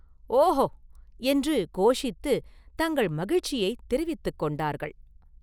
ஒஹோ!” என்று கோஷித்து தங்கள் மகிழ்ச்சியைத் தெரிவித்துக் கொண்டார்கள்.